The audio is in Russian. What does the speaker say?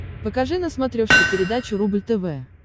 покажи на смотрешке передачу рубль тв